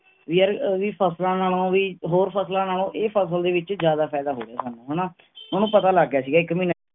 ਵੀ ਯਾਰ ਵੀ ਫ਼ਸਲਾਂ ਨਾਲੋਂ ਵੀ, ਹੋਰ ਫਸਲਾਂ ਨਾਲੋਂ ਇਹ ਫ਼ਸਲ ਦੇ ਵਿਚ ਜ਼ਿਆਦਾ ਫਾਈਦਾ ਹੋ ਗਿਆ ਸਾਨੂੰ ਹਣਾ ਓਹਨੂੰ ਪਤਾ ਲੱਗ ਗਿਆ ਸੀ ਇਕ ਮਹੀਨੇ ਚ